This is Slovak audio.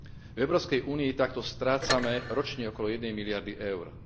V Európskej únii takto strácame ročne okolo jednej miliardy eur.